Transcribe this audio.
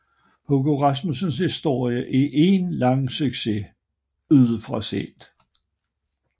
Hugo Rasmussens historie er en lang succes udefra set